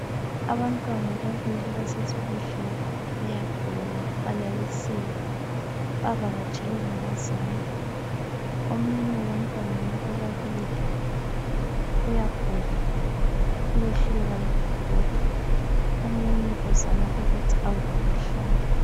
Abantwana ababili basesibhedlela bayagula balalisiwe bavakatshelwe ngabazali. Omunye wabantwana laba ababili uyagula uyehluleka lokuvuka. Omunye uzama ukuthi avuke ehlale.